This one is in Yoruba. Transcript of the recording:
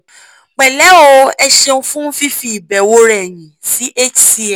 pẹ̀lẹ́ o ẹ ṣéun fún fífi ìbẹ̀wò rẹ yin sí hcm